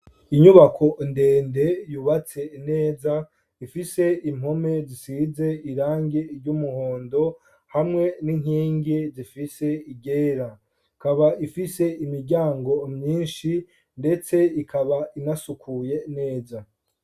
Inyubako ndende yubatse neza ifise impome zisize irangi ry'umuhondo hamwe n'inkingi zifise iryera, ikaba ifise imiryango myinshi ndetse ikaba inasukuye neza.